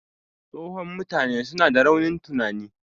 Tsohon mutane suna da raunin tunani